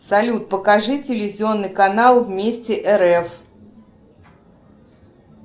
салют покажи телевизионный канал вместе рф